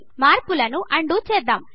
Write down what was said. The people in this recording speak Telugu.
మార్పులను అన్ డు చేద్దాం